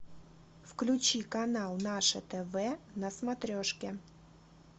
включи канал наше тв на смотрешке